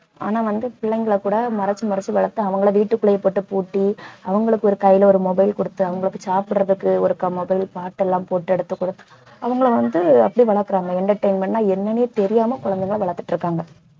ஆனால் வந்து பிள்ளைங்களை கூட மறைச்சு மறைச்சு வளர்த்து அவங்களை வீட்டுக்குள்ளேயே போட்டு பூட்டி அவங்களுக்கு ஒரு கையில ஒரு mobile கொடுத்து அவங்களுக்கு சாப்பிடுறதுக்கு ஒருக்கா mobile பாட்டெல்லாம் போட்டு எடுத்து குடுத்~ அவங்களை வந்து அப்படி வளர்க்கிறாங்க entertainment ன்னா என்னன்னே தெரியாம குழந்தைங்களை வளர்த்துட்டு இருக்காங்க